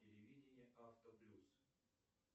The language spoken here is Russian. телевидение авто плюс